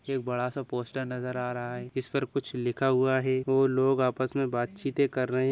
एक बड़ा-सा पोस्टर नज़र आ रहा है इसपर कुछ लिखा हुआ है और लोग आपस में बातचीते कर रहे हैं।